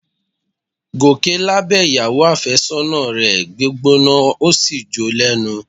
Gòkè lábẹ̀ ìyàwó àfẹ́sọ́nà rẹ̀ gbígbóná ó sì jó o lẹ́nu